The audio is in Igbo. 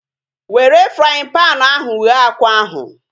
Were fraaịn panu ahu ghee akwa ahu